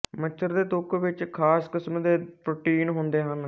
ਮੱਛਰ ਦੇ ਥੁੱਕ ਵਿੱਚ ਖ਼ਾਸ ਕਿਸਮ ਦੇ ਪ੍ਰੋਟੀਨ ਹੁੰਦੇ ਹਨ